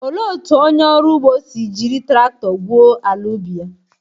Olee otú onye ọrụ ugbo si jiri traktọ gwuo ala ubi ya?